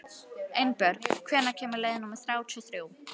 Einbjörg, hvenær kemur leið númer þrjátíu og þrjú?